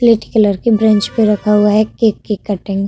plate colour की ब्रेन्च पर रखा हुआ हैं केक की कटिंग --